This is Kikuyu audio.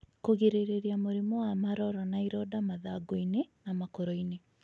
Kũgirĩrĩrĩa mũrimũ wa maroro na ironda mathangũinĩ na makorinĩ.